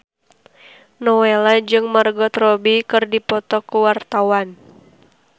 Nowela jeung Margot Robbie keur dipoto ku wartawan